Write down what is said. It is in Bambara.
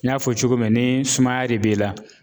N y'a fɔ cogo min ni sumaya de b'e la